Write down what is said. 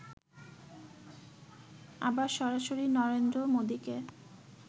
আবার সরাসরি নরেন্দ্র মোদীকে